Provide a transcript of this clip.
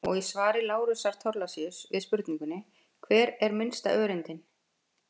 Og í svari Lárusar Thorlacius við spurningunni Hver er minnsta öreindin?